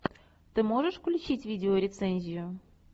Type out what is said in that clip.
ты можешь включить видео рецензию